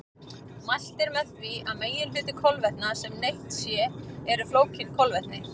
Mælt er með því að meginhluti kolvetna sem neytt er séu flókin kolvetni.